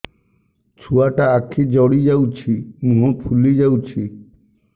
ଛୁଆଟା ଆଖି ଜଡ଼ି ଯାଉଛି ମୁହଁ ଫୁଲି ଯାଉଛି